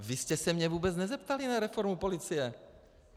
Vy jste se mě vůbec nezeptali na reformu policie.